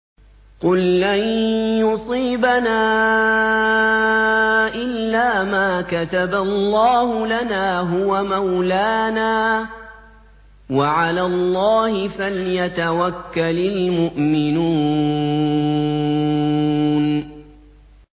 قُل لَّن يُصِيبَنَا إِلَّا مَا كَتَبَ اللَّهُ لَنَا هُوَ مَوْلَانَا ۚ وَعَلَى اللَّهِ فَلْيَتَوَكَّلِ الْمُؤْمِنُونَ